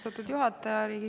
Austatud juhataja!